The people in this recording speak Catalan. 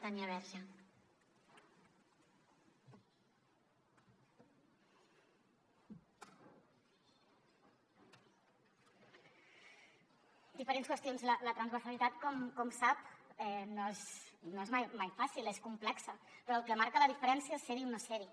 diferents qüestions la transversalitat com sap no és mai fàcil és complexa però el que marca la diferència és ser hi o no ser hi